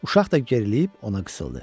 Uşaq da geriləyib ona qısıldı.